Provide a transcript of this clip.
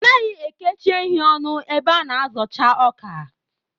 Anaghị ekechi ehi ọnụ ebe a na-azocha ọkà